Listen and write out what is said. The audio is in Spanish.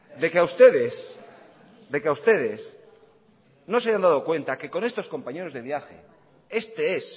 de que a ustedes de que a ustedes no se hayan dado cuenta que con estos compañeros de viaje este es